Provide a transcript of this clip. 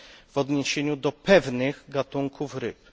w odniesieniu do pewnych gatunków ryb.